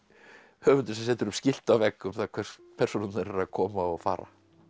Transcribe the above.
höfundur sem setur upp skilti á vegg um það hvert persónurnar eru að koma og fara